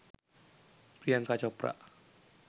priyanka chopra